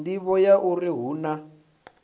nḓivho ya uri hu na